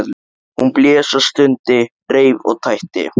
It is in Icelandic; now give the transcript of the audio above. Hún blés og stundi, reif og tætti.